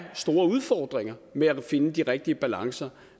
store udfordringer med at finde de rigtige balancer